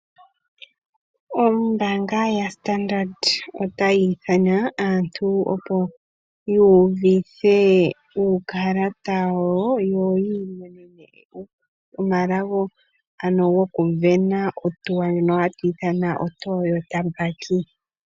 Ombaanga ya Standard ota yi ithana aantu opo ya udhithe uukalata wawo yo ya imonene omalago, ano goku vena/sindana ohautuo ndjono ha tu ithana oToyota bakie.